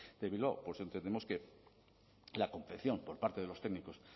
de bilbao por eso entendemos que la confección por parte de los técnicos